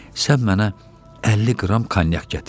Sən mənə 50 qram konyak gətir.